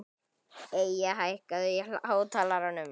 Eyja, hækkaðu í hátalaranum.